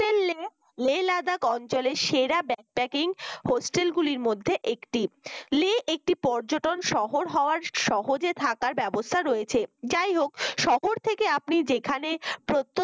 লে লাদাক অঞ্চলের সেরা backpacking hostel গুলির মধ্যে লে একটি পর্যটন শহর হওয়ার সহজে থাকার ব্যবস্থা রয়েছে যাইহোক শহর থেকে আপনি যেখানে প্রত্যন্ত